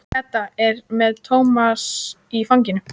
Edda er með Tómas í fanginu.